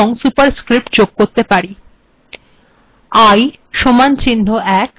আমরা এই চিহ্নের সাথে সাবস্ক্রিপ্ট এবং সুপারস্ক্রিপ্ট যোগ করতে পারি